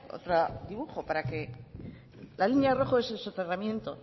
otro dibujo para que la línea rojo es el soterramiento